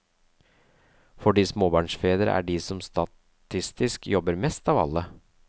Fordi småbarnsfedre er de som statistisk jobber mest av alle.